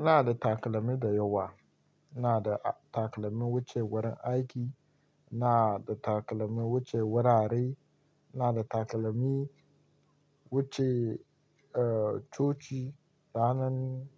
Ina da takalmi dayawa. Ina da takalmi wuce wurin aiki, ina da takalmi wuce wurare, ina da takalmi wuce, eh, coci ranan,